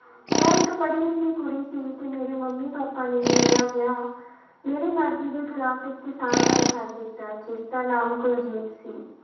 ਮੈਂ ਇੱਕ ਪੜ੍ਹੀ ਲਿਖੀ ਕੁੁੜੀ ਸੀ ਤੇ ਮੇਰੇ ਮੰਮੀ ਪਾਪਾ ਨੇ ਮੇਰਾ ਵਿਆਹ ਮੇਰੀ ਮਰਜ਼ੀ ਦੇ ਖਿਲਾਫ਼ ਇੱਕ ਕਿਸਾਨ ਨਾਲ ਕਰ ਦਿੱਤਾ, ਜਿਸਦਾ ਨਾਮ ਕੁਲਜੀਤ ਸੀ।